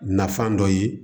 Nafan dɔ ye